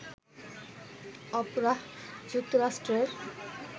Oprah, যুক্তরাষ্ট্রের